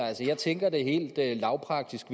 jeg tænker helt lavpraktisk